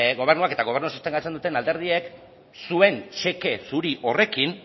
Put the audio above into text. gobernuak eta gobernua sostengatzen duten alderdiek zuen txeke zuri horrekin